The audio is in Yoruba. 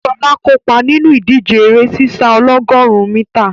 Ṣọlá kópa nínú ìdíje eré sísá ọlọ́gọ̀rún mítà.